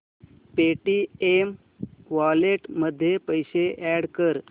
Paytm wallet मध्ये पैसे add कर